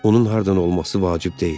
Onun hardan olması vacib deyil.